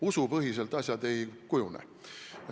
Usupõhiselt asjad ei kujune.